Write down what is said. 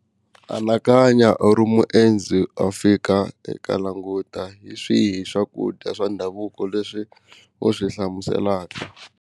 Anakanya u ri muendzi a fika eka languta hi swihi swakudya swa ndhavuko leswi u swi hlamuselaka.